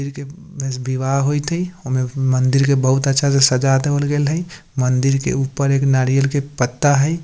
बस विवाह होयत हई ओय में मंदिर के बहुत अच्छा से सजा देवल गेल हई मंदिर के ऊपर एक नारियल के पत्ता हई।